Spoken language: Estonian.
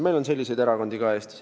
Eestis on selliseid erakondi ka.